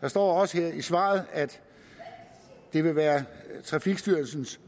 der står også i svaret at det vil være trafikstyrelsens